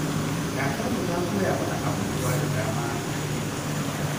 Karkarmu ta koya mana abubuwa da dama ta hanyar tatsuniya.